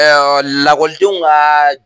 lakɔlidenw ka